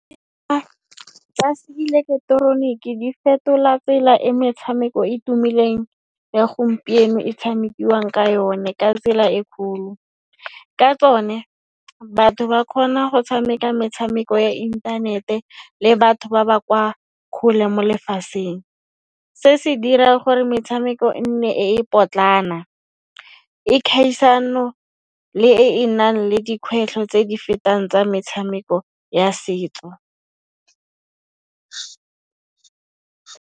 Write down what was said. Tsa se ileketeroniki di fetola tsela e metshameko e tumileng ya gompieno e tshamekiwang ka yone ka tsela e kholo. Ka tsone, batho ba khona go tshameka metshameko ya intanete le batho ba ba kwa khole mo lefaseng. Se se dira gore metshameko e nne e e potlana, e khaisano le eve nang le dikgwetlho tse di fetang tsa metshameko ya setso.